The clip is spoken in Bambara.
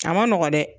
A ma nɔgɔn dɛ